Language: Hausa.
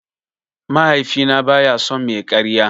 Mahaifina baya son mai karya.